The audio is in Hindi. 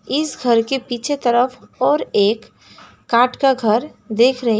इस घर के पीछे तरफ और एक काठ का घर देख रही--